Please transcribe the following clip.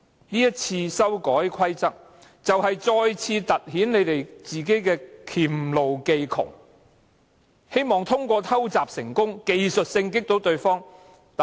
這一次修改規則就是再次突顯自己的黔驢技窮，希望通過偷襲成功，技術性擊倒對手。